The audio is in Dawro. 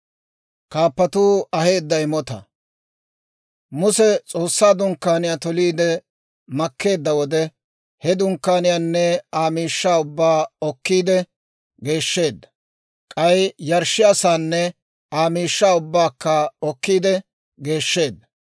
Muse S'oossaa Dunkkaaniyaa toliide makkeedda wode, he Dunkkaaniyaanne Aa miishshaa ubbaa okkiide geeshsheedda; k'ay yarshshiyaa saanne Aa miishshaa ubbaakka okkiide geeshsheedda.